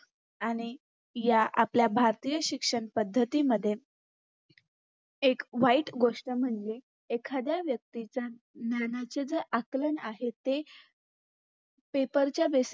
या आपल्या भारतीय शिक्षणपद्धतीमध्ये एक वाईट गोष्ट म्हणजे एखाध्या व्यक्तीच्या ज्ञानाच्या जे आकलन आहे ते paper च्या दृष्टी